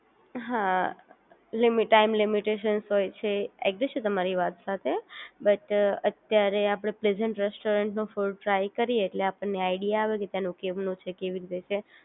હા limit time limitations હોય છે, એગ્રી છું તમારી વાત સાથે બટ અત્યારે આપડે પ્રેઝન્ટ રેસ્ટોરન્ટ નું ફૂડ ટ્રાય કરીએ એટલે આપણ ને આઇડિયા આવે કે ટેનું કેમનું છે કેવી રીતે છે